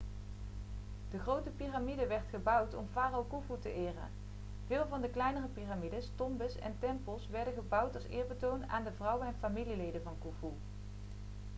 de grote piramide werd gebouwd om farao khufu te eren veel van de kleinere piramides tombes en tempels werden gebouwd als eerbetoon aan de vrouwen en familieleden van khufu